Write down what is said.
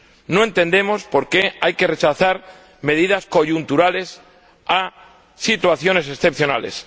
no entendemos por qué hay que rechazar medidas coyunturales a situaciones excepcionales.